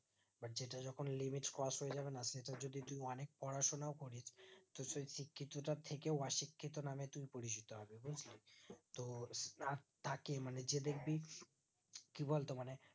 এবার যেটা যখন limit cross হয়ে যাবে না সেটা যদি তুমি অনেক পড়াশোনাও করে তো সেই শিক্ষিতটা থেকেও অশিক্ষিত নামে তুমি পরিচিত হবে বুজলি তো তাতাকে মানে যে দেখবি কি বলতো মানে